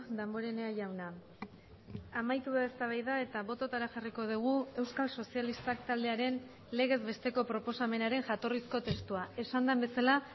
damborenea jauna amaitu da eztabaida eta bototara jarriko dugu euskal sozialistak taldearen legez besteko proposamenaren jatorrizko testua esan den bezala